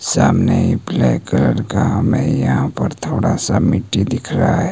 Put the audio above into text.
सामने ही black colour का हमे यहां पर थोड़ा सा मिट्टी दिख रहा--